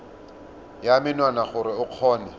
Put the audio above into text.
ya menwana gore o kgone